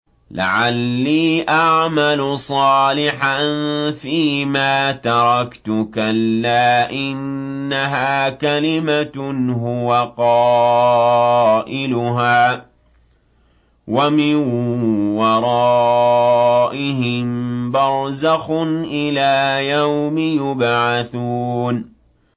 لَعَلِّي أَعْمَلُ صَالِحًا فِيمَا تَرَكْتُ ۚ كَلَّا ۚ إِنَّهَا كَلِمَةٌ هُوَ قَائِلُهَا ۖ وَمِن وَرَائِهِم بَرْزَخٌ إِلَىٰ يَوْمِ يُبْعَثُونَ